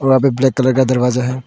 वहां पे black colour का दरवाजा है।